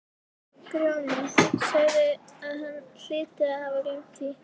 Grjóni sagði að hann hlyti að hafa gleymt því.